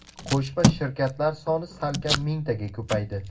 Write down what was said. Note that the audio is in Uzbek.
Qo‘shma shirkatlar soni salkam mingtaga ko‘paydi.